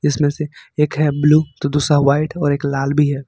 इसमें से एक है ब्ल्यू तो दूसरा वाइट और एक लाल भी है।